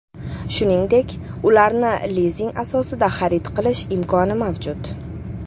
Shuningdek, ularni lizing asosida xarid qilish imkoni mavjud.